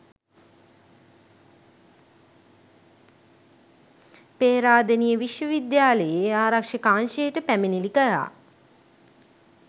පේරාදෙණිය විශ්ව විද්‍යාලයේ ආරක්ෂක අංශයට පැමිණිලි කළා.